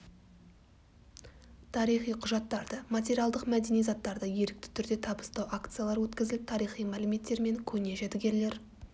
тарихи құжаттарды материалдық мәдени заттарды ерікті түрде табыстау акциялар өткізіліп тарихи мәліметтер мен көне жәдігерлер